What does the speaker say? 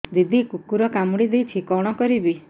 ଦିଦି କୁକୁର କାମୁଡି ଦେଇଛି କଣ କରିବି